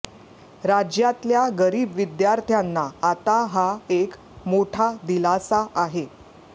राज्यातल्या गरीब विद्यार्थ्यांना आता हा एक मोठा दिलासा आहे